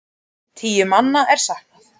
Tíu manna er saknað.